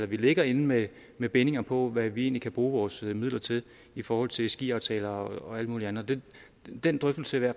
vi ligger inde med med bindinger på hvad vi egentlig kan bruge vores midler til i forhold til ski aftaler og alt muligt andet den drøftelse vil